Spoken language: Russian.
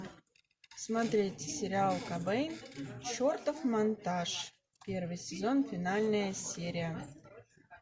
смотреть сериал кобейн чертов монтаж первый сезон финальная серия